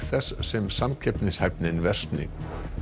þess sem samkeppnishæfnin versni